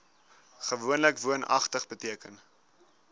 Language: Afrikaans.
gewoonlik woonagtig beteken